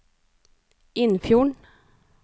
Innfjorden